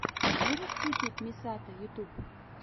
можешь включить мисато ютуб